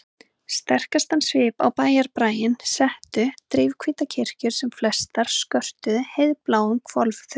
Sterkastan svip á bæjarbraginn settu drifhvítar kirkjur sem flestar skörtuðu heiðbláum hvolfþökum.